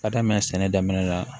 Ka daminɛ sɛnɛ daminɛ la